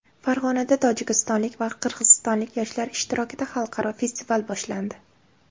Farg‘onada tojikistonlik va qirg‘izistonlik yoshlar ishtirokida xalqaro festival boshlandi.